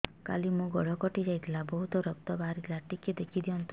କାଲି ମୋ ଗୋଡ଼ କଟି ଯାଇଥିଲା ବହୁତ ରକ୍ତ ବାହାରି ଥିଲା ଟିକେ ଦେଖି ଦିଅନ୍ତୁ